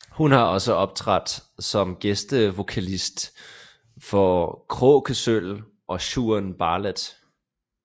Hun har også optrådt som gæstevokalist for Kråkesølv og Shaun Bartlett